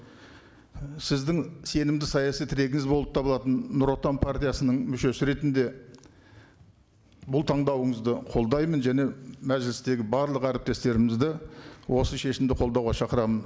сіздің сенімді саяси тірегіңіз болып табылатын нұр отан партиясының мүшесі ретінде бұл таңдауыңызды қолдаймын және мәжілістегі барлық әріптестерімізді осы шешімді қолдауға шақырамын